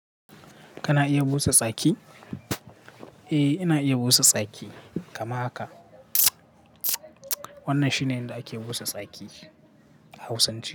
Kana iya busa tsaki? Eh, ina iya busa tsaki kamar haka. Wannan shine yanda ake busa tsaki a Hausance.